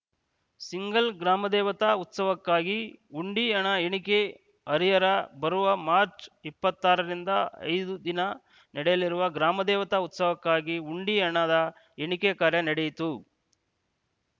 single ಗ್ರಾಮದೇವತಾ ಉತ್ಸವಕ್ಕಾಗಿ ಹುಂಡಿ ಹಣ ಎಣಿಕೆ ಹರಿಹರ ಬರುವ ಮಾರ್ಚ್ ಇಪ್ಪತ್ತಾರರಿಂದ ಐದು ದಿನ ನಡೆಯಲಿರುವ ಗ್ರಾಮದೇವತಾ ಉತ್ಸವಕ್ಕಾಗಿ ಹುಂಡಿ ಹಣದ ಎಣಿಕೆ ಕಾರ್ಯ ನಡೆಯಿತು